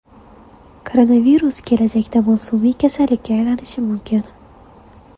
Koronavirus kelajakda mavsumiy kasallikka aylanishi mumkin.